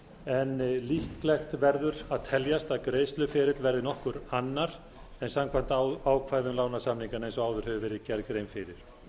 en líklegt verður að teljast að greiðsluferill verði nokkuð annar en samkvæmt ákvæðum lánasamninganna eins og áður hefur verið gerð grein fyrir